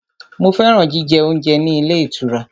Mo fẹ́ràn jíjẹ oúnjẹ ní ilé ìtura.